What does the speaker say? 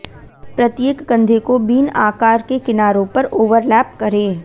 प्रत्येक कंधे को बीन आकार के किनारों पर ओवरलैप करें